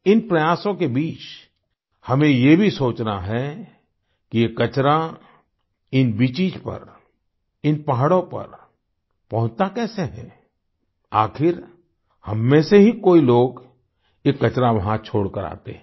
इन प्रयासों के बीच हमें ये भी सोचना है कि ये कचरा इन बीचेस पर इन पहाड़ों पर पहुंचता कैसे है आखिर हम में से ही कोई लोग ये कचरा वहाँ छोड़कर आते हैं